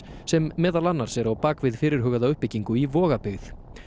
sem meðal annars er á bak við fyrirhugaða uppbyggingu í Vogabyggð